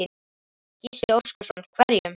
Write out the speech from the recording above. Gísli Óskarsson: Hverjum?